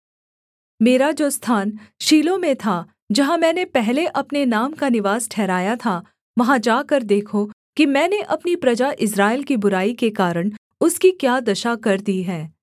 मेरा जो स्थान शीलो में था जहाँ मैंने पहले अपने नाम का निवास ठहराया था वहाँ जाकर देखो कि मैंने अपनी प्रजा इस्राएल की बुराई के कारण उसकी क्या दशा कर दी है